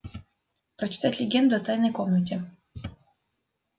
прочитать легенду о тайной комнате